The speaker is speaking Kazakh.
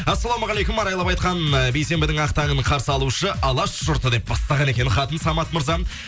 ассалаумағалейкум арайлап айтқан э бейсенбінің ақтағын қарсалушы алаш жұрты деп бастаған екен хатын самат мырзам